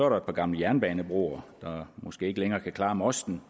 der et par gamle jernbanebroer der måske ikke længere kan klare mosten